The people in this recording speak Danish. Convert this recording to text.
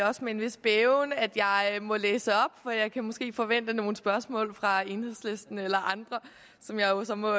er også med en vis bæven at jeg må læse op for jeg kan måske forvente nogle spørgsmål fra enhedslisten eller andre som jeg så må